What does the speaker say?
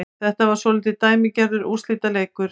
Þetta var svolítið dæmigerður úrslitaleikur